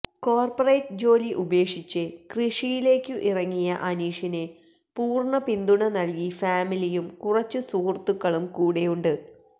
corporate ജോലി ഉപേക്ഷിച്ചു കൃഷിയിലേക്കു ഇറങ്ങിയ അനീഷിന് പൂര്ണ പിന്തുണ നല്കി ഫാമിലിയും കുറച്ചു സുഹൃത്തുക്കളും കൂടെ ഉണ്ട്